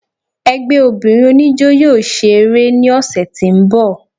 Ẹgbẹ́ obìnrin oníjọ́ yóò ṣe eré ní ọsẹ̀ tí ń bọ̀.